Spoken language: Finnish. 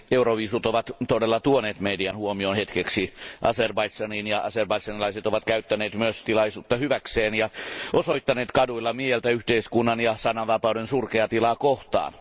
Arvoisa puhemies, euroviisut ovat todella tuoneet median huomioon hetkeksi Azerbaidžaniin ja azerbaidžanilaiset ovat käyttäneet myös tilaisuutta hyväkseen ja osoittaneet kaduilla mieltään yhteiskunnan ja sananvapauden surkeaa tilaa vastaan.